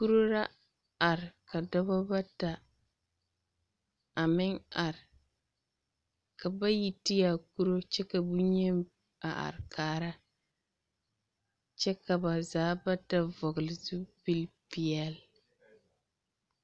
Kuri ra are ka dɔbɔ bata a meŋ are, ka bayi ti a kuri kyɛ ka boŋyeni a are kaara kyɛ ka ba zaa bata vɔgele zupili peɛle.